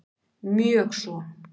Mjög svo